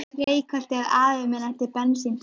Reykholti, að afi minn ætti bensíntank.